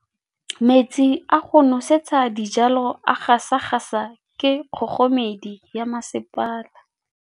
Metsi a go nosetsa dijalo a gasa gasa ke kgogomedi ya masepala.